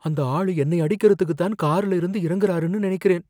அந்த ஆள் என்னை அடிக்கிறதுக்குத் தான் கார்ல இருந்து இறங்குராருன்னு நனைக்கிறேன்